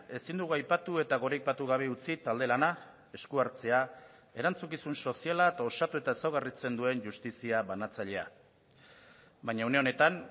ezin dugu aipatu eta goraipatu gabe utzi talde lana esku hartzea erantzukizun soziala eta osatu eta ezaugarritzen duen justizia banatzailea baina une honetan